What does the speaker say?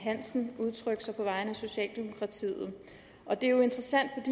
hansen udtrykke sig på vegne af socialdemokratiet og det er jo interessant